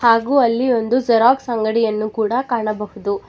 ಹಾಗು ಅಲ್ಲಿ ಒಂದು ಜೆರಾಕ್ಸ್ ಅಂಗಡಿಯನ್ನು ಕೂಡ ಕಾಣಬಹುದು.